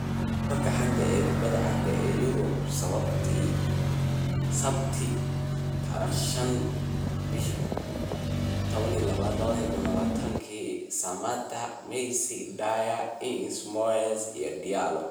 Wararka xanta kubada cagta ee Yurub Sabti 05.12.2020: Samatta, Messi, Dier, Ings, Moyes, Diallo